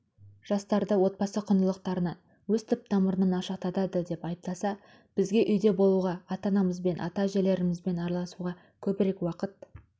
жастарды отбасы құндылықтарынан өз түп-тамырынан алшақтады деп айыптаса бізге үйде болуға ата-анамызбен ата-әжелерімізбен араласуға көбірек уақыт